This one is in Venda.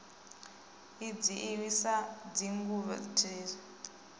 i dzhiiwi sa tshigwevho ndiliso